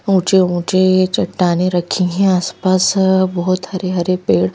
ऊंचे ऊंचे चट्टाने रखी हैं आसपास बहुत हरे-हरे पेड़--